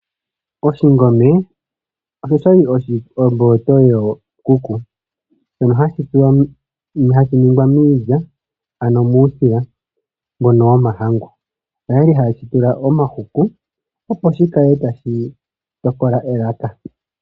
Oshikwiila osho sha li omboloto yookuku, shono hashi ningwa miilya, ano muusila mbono womahangu. Oya li haye shi tula omahuku, opo shi kale tashi tokola elaka.